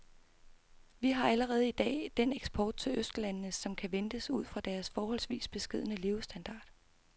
Vi har allerede i dag den eksport til østlandene, som kan ventes ud fra deres forholdsvis beskedne levestandard.